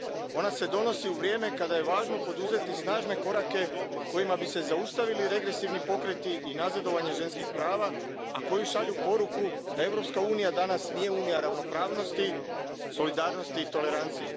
Ona se donosi u vrijeme kada je važno poduzeti snažne korake kojima bi se zaustavili regresivni pokreti i nazadovanje ženskih prava, a koji šalju poruku da Europska unija danas nije unija ravnopravnosti, solidarnosti i tolerancije.